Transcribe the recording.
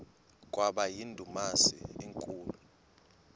kwaba yindumasi enkulu